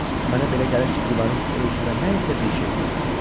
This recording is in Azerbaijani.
Mənə belə gəlir ki, divarın o üzündə nə isə bir şey var.